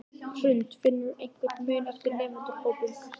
Hrund: Finnurðu einhvern mun eftir nemendahópum?